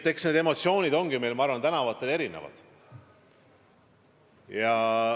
Eks need emotsioonid ongi nii meil kui ka tänavatel erinevad.